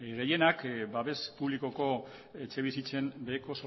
gehienak babes publikoko etxebizitzen beheko